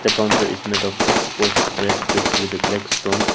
counter is made of exposed red bricks with a black stone.